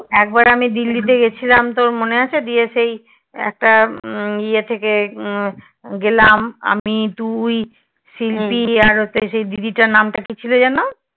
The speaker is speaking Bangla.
একবার আমি দিল্লিতে গিয়েছিলাম তোর মনে আছে? গিয়ে সেই একটা উম ইয়ে থেকে গেলাম আমি তুই শিল্পি আর হচ্ছে সেই দিদিটার নাম ছিলো কি যেনো?